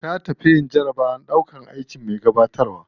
Ta tafi yin jarabawar ɗaukan aikin me gabatarwa.